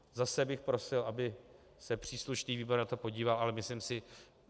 Zase bych prosil, aby se příslušný výbor na to podíval, ale myslím si...